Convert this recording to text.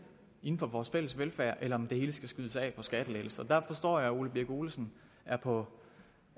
inden for vores fælles velfærd eller om det hele skal skydes af på skattelettelser der forstår jeg herre ole birk olesen er på